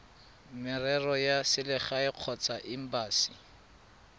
merero ya selegae kgotsa embasi